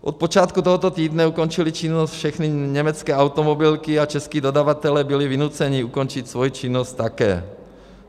Od počátku tohoto týdne ukončily činnost všechny německé automobilky a čeští dodavatelé byli vynuceni ukončit svoji činnost také.